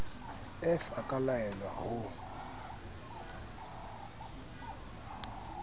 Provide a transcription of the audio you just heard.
f a ka laelwa ho